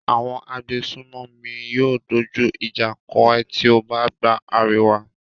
Àwọn agbésùnmòmí yóò dójú ìjà kọ ẹ tí ó bá gba àríwá.